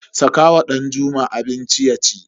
Saka wa Danjuma abinci yaci.